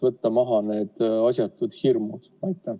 Võtaks need asjatud hirmud maha.